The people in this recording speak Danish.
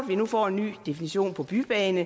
vi nu får en ny definition på bybaner